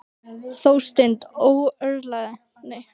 Þó stundum örlaði á beiskju hjá